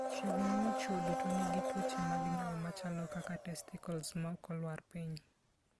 Chiegni ni chwo duto nigi tuoche mag nyuol machalo kaka testicles ma ok olwar piny.